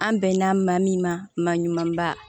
An bɛnna maa min ma maa ɲumanba